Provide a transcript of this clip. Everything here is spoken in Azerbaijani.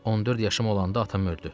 14 yaşım olanda atam öldü.